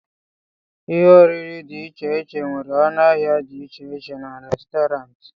ihe oriri dị iche iche nwere ọnụ ahịa dị iche iche na Restọrantị